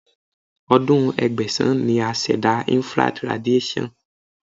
Ọdún Ẹgbẹ̀sán ni a ṣẹ̀dá Infrared radiation.